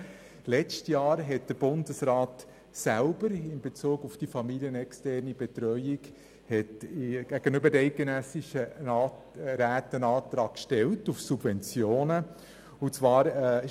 Während dem letzten Jahr hat der Bundesrat selber in Bezug auf die familienexterne Betreuung gegenüber den eidgenössischen Räten einen Antrag auf Subventionen gestellt.